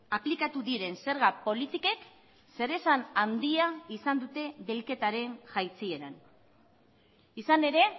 aplikatu diren zerga politikek zeresan handia izan dute bilketaren jaitsieran izan ere